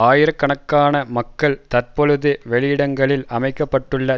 ஆயிரக்கணக்கான மக்கள் தற்பொழுது வெளியிடங்களில் அமைக்க பட்டுள்ள